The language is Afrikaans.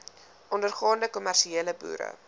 ondergaande kommersiële boere